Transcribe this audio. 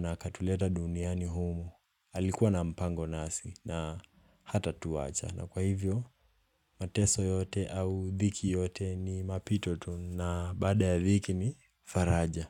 na akatuleta duniani humu, alikuwa na mpango nasi na hatatuwacha. Na kwa hivyo, mateso yote au dhiki yote ni mapito tu na baada ya dhiki ni faraja.